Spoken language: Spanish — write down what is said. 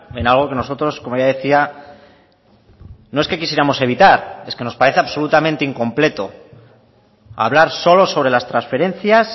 en algo que nosotros como ya decía no es que quisiéramos evitar es que nos parece absolutamente incompleto hablar solo sobre las transferencias